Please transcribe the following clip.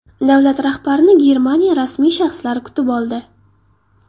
Davlat rahbarini Germaniya rasmiy shaxslari kutib oldi.